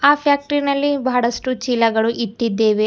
ಆ ಫ್ಯಾಕ್ಟರಿ ನಲ್ಲಿ ಬಹಳಷ್ಟು ಚೀಲಗಳು ಇಟ್ಟಿದ್ದೇವೆ.